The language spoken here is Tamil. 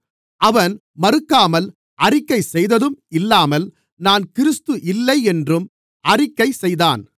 அவன் மறுக்காமல் அறிக்கை செய்ததும் இல்லாமல் நான் கிறிஸ்து இல்லை என்றும் அறிக்கை செய்தான்